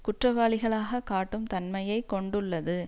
குற்றவாளிகளாக காட்டும் தன்மையை கொண்டுள்ளது